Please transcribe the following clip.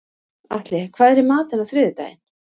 Atli, hvað er í matinn á þriðjudaginn?